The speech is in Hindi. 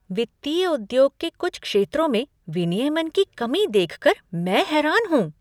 वित्तीय उद्योग के कुछ क्षेत्रों में विनियमन की कमी देख कर मैं हैरान हूँ।